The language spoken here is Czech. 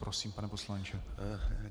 Prosím, pane poslanče.